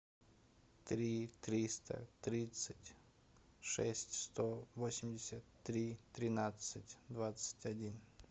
три триста тридцать шесть сто восемьдесят три тринадцать двадцать один